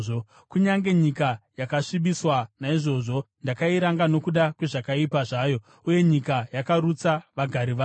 Kunyange nyika yakasvibiswa; naizvozvo ndakairanga nokuda kwezvakaipa zvayo uye nyika yakarutsa vagari vayo.